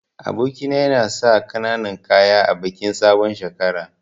Aboki na yana sa kananan kaya a bikin sabon shekara.